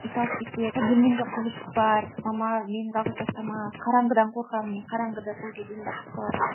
ит алып кетеді иә бөлмемде құбыжық бар мама мені жалғыз тастама қараңғыдан қорқамын міне қараңғы да сол кезден басталады